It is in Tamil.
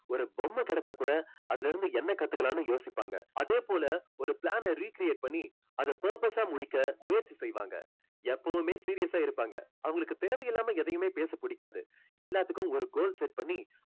ஒரு பொம்மை கிடைச்சா கூட அதுலருந்து என்ன கத்துக்கலாம்னு யோசிப்பாங்க அதே போல ஒரு plan அ recreate பண்ணி அதை perfect ஆ முடிக்க முயற்சி செய்வாங்க எப்போவுமே serious ஆ இருப்பாங்க அவங்களுக்கு தேவை இல்லாம எதையுமே பேச புடிக்காது எல்லாத்துக்கும் ஒரு goal set பண்ணி